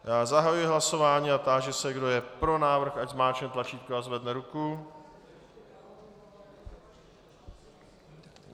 Já zahajuji hlasování a táži se, kdo je pro návrh, ať zmáčkne tlačítko a zvedne ruku.